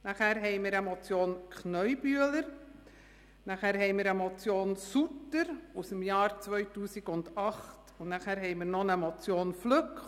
Danach gab es eine Motion Kneubühler, im Jahr 2008 eine Motion Sutter und im Jahr 2015 noch eine Motion Flück.